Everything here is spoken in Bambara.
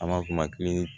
An b'a f'o ma ko